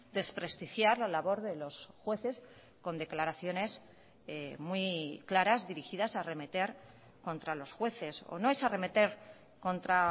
desprestigiar la labor de los jueces con declaraciones muy claras dirigidas a arremeter contra los jueces o no es arremeter contra